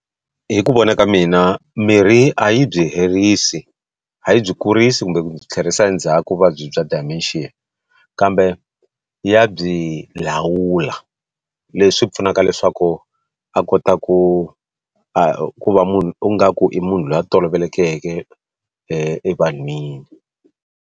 Hi ku vona ka mina mirhi a yi byi herisi a yi byi kurisi kumbe ku byi tlherisa ndzhaku vuvabyi bya Dementia kambe ya byi lawula leswi pfunaka leswaku a kota ku a ku va munhu u nga ku i munhu loyi a tolovelekeke evanhwini.